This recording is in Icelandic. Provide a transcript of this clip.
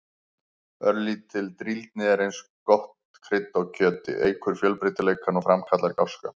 Örlítil drýldni er eins og gott krydd á kjöti, eykur fjölbreytileikann og framkallar gáska.